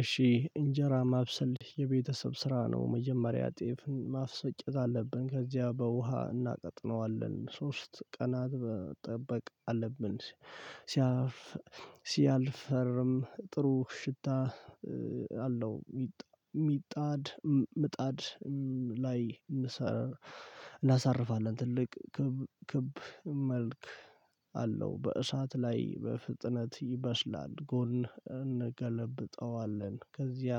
እሺ እንጀራ ማብሰልሽ የቤተሰብ ስራ ነው መጀመሪያ ጤፍ ማስፈጨት አለብን ከዚያ በውሃ እናቀጥነዋለን ሶስት ቀናት ጠበቅ አለብን። ሲያልፈርም ጥሩ ሽታ አለው ሚጣድ ምጣድ ላይ እናሳርፋለን። ትልቅ ክብ ክብ መልክ አለው በእሳት ላይ በፍጥነት ይበስላል። ጎን እንገለብጠዋለን ከዚያ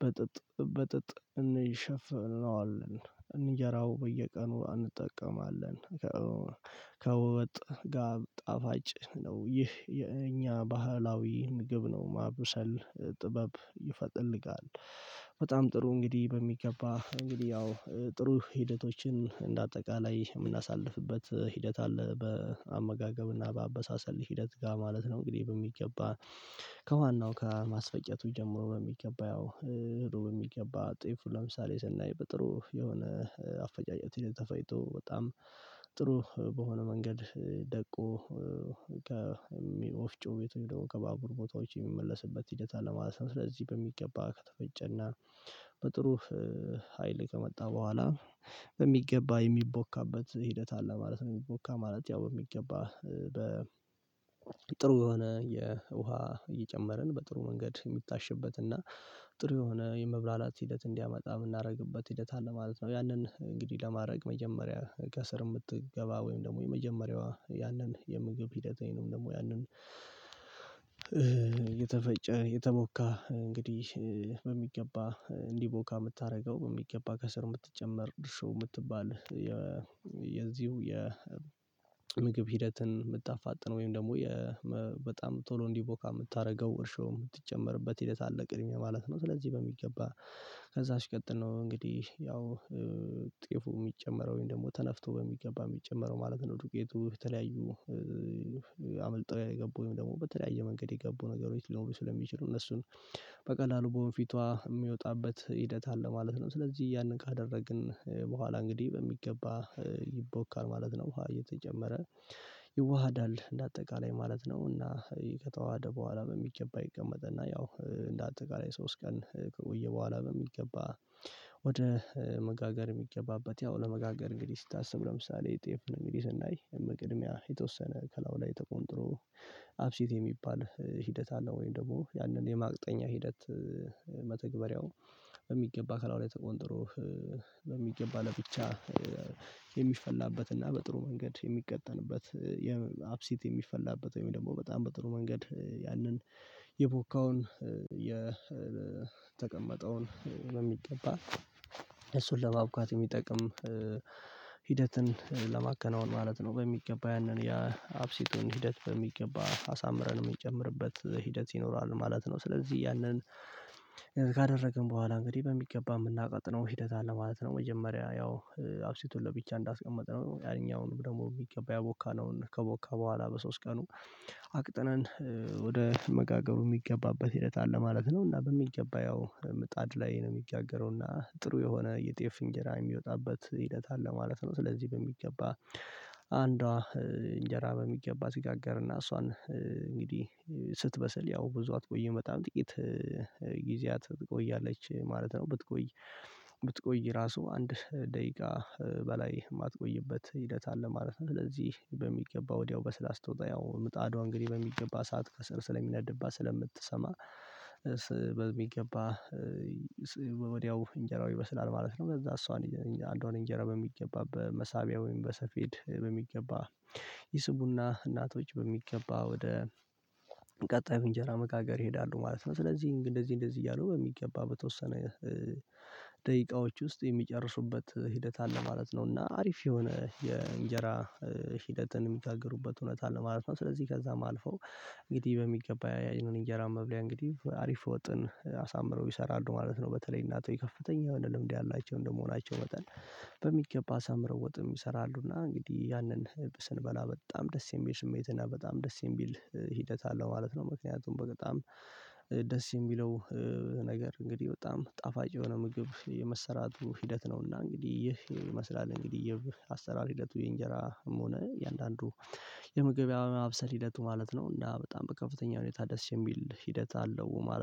በጥጥ በጥጥ እንሸፍነዋለን እንጀራው በየቀኑ እንጠቀማለን። ከወጥ ጋብ ጣፋጭ ነው ይህ የኛ ባህላዊ ምግብ ነው። ማብሰል ጥበብ ይፈጥልጋል። በጣም ጥሩ እንግዲህ በሚገባ እንግዲህ ያው ጥሩ ሂደቶችን እንደ አጠቃላይ የምናሳልፍበት ሂደት አለ። በአመጋገብና በአበሳሰል ሂደት ጋ ማለት ነው። እንግዲህ በሚገባ ከዋናው ከማስፈጨቱ ጀምሮ በሚገባ ያው ህዶ በሚገባ ጤፉ ለምሳሌ ስናይ በጥሩ የሆነ አፈጫጨት የተፈጭቶ በጣም ጥሩ በሆነ መንገድ ደቆ። ከወፍጮው ቤቱ ከባቡር ቦታዎች የሚመለስበት ሂደት አለ ማለት ነው። ስለዚህ በሚገባ ከተፈጨና በጥሩ ሀይል ከመጣ በኋላ በሚገባ የሚቦካበት ሂደት አለ ማለት ነው። ሚቦካ ማለት ያው በሚገባ በጥሩ የሆነ የውሃ እየጨመርን በጥሩ መንገድ የሚታሽበት እና ጥሩ የሆነ የመብላላት ሂደት እንዲያመጣ ምናረግበት ሂደት አለ ማለት ነው። ያንን እንግዲህ ለማረግ መጀመሪያ ከስር ምትገባ ወይም ደግሞ የመጀመሪያዋ ያንን የምግብ ሂደት ወይንም ደግሞ ያንን። የተፈጨ የተቦካ እንግዲህ በሚገባ እንዲቦካ ምታረገው በሚገባ ከስር ምትጨመር እርሾ ምትባል የዚሁ የምግብ ሂደትን ምታፋጥነው ወይም ደግሞ በጣም ቶሎ እንዲቦካ ምታረገው እርሾ ምትጨመርበት ሂደት አለ ቅድሚያ ማለት ነው። ስለዚህ በሚገባ ከዛ ሲቀጥል ነው እንግዲህ ያው ጤፉ ሚጨመረው ደግሞ ተነፍቶ በሚገባ ሚጨመረው ማለት ነው። ዱቄቱ የተለያዩ አምልጥው የገቡ ወይም ደግሞ በተለያየ መንገድ የገቡ ነገሮች ሊኖሩ ስለሚችሉ እነሱን በቀላሉ በወንፊቷ ሚወጣበት ሂደት አለ ማለት ነው። ስለዚህ ያንን ካደረግን በኋላ እንግዲህ በሚገባ ይቦካል ማለት ነው። ውሃ እየተጨመረ ይዋሃዳል እንደ አጠቃላይ ማለት ነው። እና ከተዋሃደ በኋላ በሚገባ ይቀመጥ እና ያው እንደ አጠቃላይ ሶስት ቀን ከቆየ በኋላ። በሚገባ ወደ መጋገር የሚገባበት ያው ለመጋገር እንግዲህ ስታስብ ለምሳሌ ጤፍ እንግዲህ ስናይ ምቅድሚያ የተወሰነ ከላው ላይ ተቆንጥሮ አብሴት የሚባል ሂደት አለው። ወይም ደግሞ ያንን የማቅጠኛ ሂደት መተግበሪያው በሚገባ ከላዩ ላይ በሚገባ ለብቻ የሚፈላበት እና በጥሩ መንገድ የሚቀጠንበት የአብሲት የሚፈላበት ወይም ደግሞ በጣም በጥሩ መንገድ ያንን የቦካውን የተቀመጠውን በሚገባ እሱን ለማቡካት የሚጠቅም ሂደትን ለማከናወን ማለት ነው። በሚገባ ያንን ያ አብሲቱን ሂደት በሚገባ አሳምረን ሚጨምርበት ሂደት ይኖረዋል ማለት ነው። ስለዚህ ያንን ካደረግን በኋላ እንግዲህ በሚገባ ምናቀጥነው ሂደት አለ ማለት ነው። መጀመሪያ ያው አብሴቱን ለብቻ እንዳስቀመጥነው ያኛውንም ደግሞ ሚገባ ያቦካነውን ከቦካ በኋላ በሶስት ቀኑ አቅጥነን ወደ መጋገሩ ሚገባበት ሂደት አለ ማለት ነው። እና በሚገባ ያው ምጣድ ላይ ነው የሚጋገረው እና ጥሩ የሆነ የጤፍ እንጀራ የሚወጣበት ሂደት አለ ማለት ነው። ስለዚህ በሚገባ አንዷ እንጀራ በሚገባ ሲጋገርና እሷን እንግዲህ ስትበሰል ያው ብዙ አትቆይም በጣም ጥቂት ጊዜያት ትቆያለች ማለት ነው። ብትቆይ ብትቆይ ራሱ አንድ ደቂቃ በላይ ማትቆይበት ሂደት አለ ማለት ነው። ስለዚህ በሚገባ ወዲያው በስላ ስትወጣ ያው ምጣዷ እንግዲህ በሚገባ ሰዓት ከስር ስለሚነድባ ስለምትሰማ በሚገባ ወዲያው እንጀራው ይበስላል ማለት ነው። ከዛ እሷን አንዷን እንጀራ በሚገባ በመሳቢያ ወይም በሰፌድ በሚገባ ይስቡና እናቶች በሚገባ ወደ ቀጣዩ እንጀራ መጋገር ይሄዳሉ ማለት ነው። ስለዚህ እንደዚህ እንደዚህ እያሉ በሚገባ በተወሰነ ደቂቃዎች ውስጥ የሚጨርሱበት ሂደት አለ ማለት ነው። እና አሪፍ የሆነ የእንጀራ ሂደትን የሚያጋግሩበት እውነት አለ ማለት ነው። ስለዚህ ከዛም አልፈው እንግዲህ በሚገባ ያንን እንጀራ መብለያ እንግዲህ አሪፍ ወጥን አሳምረው ይሰራሉ ማለት ነው። በተለይ እናቶይ ከፍተኛ የሆነ ልምድ ያላቸው እንደመሆናቸው በተለይ በሚገባ አሳምረው ወጥም ይሰራሉ እና እንግዲህ ያንን ስንበላ በጣም ደስ የሚል ስሜት እና በጣም ደስ የሚል ሂደት አለው ማለት ነው። ምክንያቱም በጣም ደስ የሚለው ነገር እንግዲህ በጣም ጣፋጭ የሆነ ምግብ የመሰራቱ ሂደት ነውና እንግዲህ ይህ ይመስላል እንግዲህ የአሰራር ሂደቱ የእንጀራ እምሆነ የአያንዳንዱ የምግብ የማብሰል ሂደቱ ማለት ነው። እና በጣም በከፍተኛ ሁኔታ ደስ የሚል ሂደት አለው ማለት